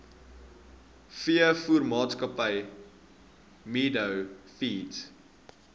veevoermaatskappy meadow feeds